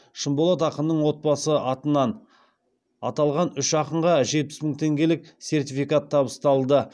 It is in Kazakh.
шынболат ақынның отбасы атынан аталған үш ақынға жетпіс мың теңгелік сертификат табысталды